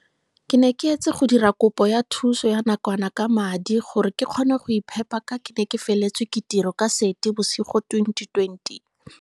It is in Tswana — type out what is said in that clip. Ke ne ke etse go dira kopo ya thuso ya nakwana ka madi gore ke kgone go iphepa ka ke ne ke feletswe ke tiro ka Seetebosigo 2020.